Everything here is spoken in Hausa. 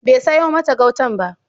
Bai sayo mata gautan ba.